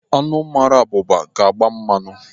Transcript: Anụ mmara abụba ga-agba mmanụ.